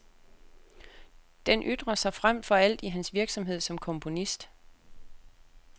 Den ytrer sig frem for alt i hans virksomhed som komponist.